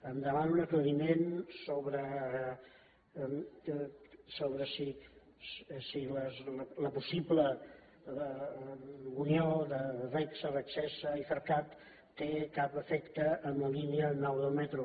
em demana un aclariment sobre si la possible unió de regsa regsega i ifercat té cap efecte en la línia nou del metro